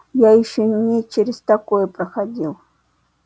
я ещё и не через такое проходил